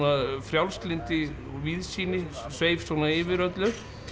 frjálslyndi og víðsýni sveif svona yfir öllu